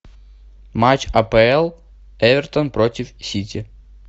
матч апл эвертон против сити